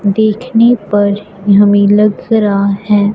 देखने पर हमें लग रहा है।